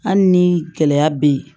Hali ni gɛlɛya bɛ yen